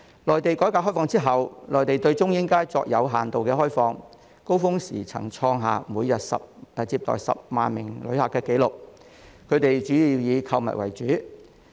內地改革開放之後，內地對中英街作有限度開放，高峰時曾創下每日接待10萬名旅客的紀錄，他們主要以購物為主。